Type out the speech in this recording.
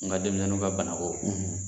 Ne ka denmisɛnninw ka banako